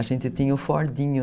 A gente tinha um Fordinho.